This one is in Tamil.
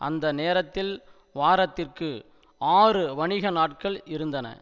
அந்த நேரத்தில் வாரத்திற்கு ஆறு வணிக நாட்கள் இருந்தன